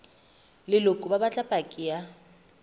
leloko ba batla paki ya